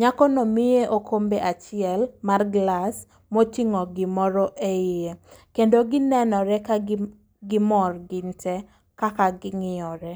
Nyako no miye okombe achiel mar glas, moting'o gimoro e iye. Kendo ginenore ka gim gimor gin te kaka ging'iyo re.